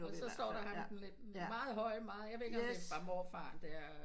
Så står der bare ham den lidt meget høje meget jeg ved ikke hvor meget frem overfaren det er